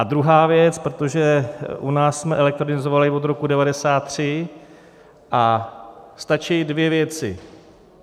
A druhá věc, protože u nás jsme elektronizovali od roku 1993 a stačí dvě věci.